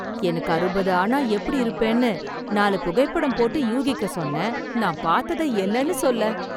எனக்கு அறுபது ஆனா எப்படி இருப்பேன்னு நாலு புகைப்படம் போட்டு யூகிக்கச் சொன்னேன். நான் பாத்ததை என்னன்னு சொல்ல!